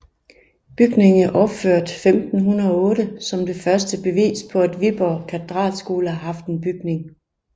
Bygningen er opført år 1508 som det første bevis på at Viborg Katedralskole har haft en bygning